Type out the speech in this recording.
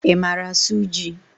I mara asụ jị?